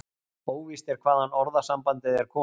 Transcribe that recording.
Óvíst er hvaðan orðasambandið er komið.